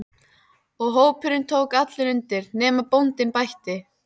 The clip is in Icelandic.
Og hópurinn tók allur undir: nema bóndinn bætti.